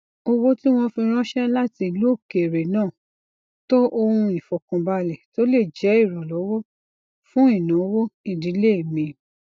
owó tí wọn fi ranṣẹ lati ilu okere naa to ohun ifọkanbalẹ to le jẹ iranlọwọ fun inawo idile mi